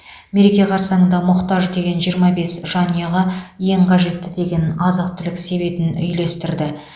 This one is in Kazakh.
мереке қарсаңында мұқтаж деген жиырма бес жанұяға ең қажетті деген азық түлік себетіни үлестірді